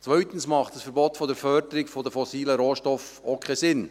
Zweitens macht ein Verbot der Förderung von fossilen Rohstoffen auch keinen Sinn.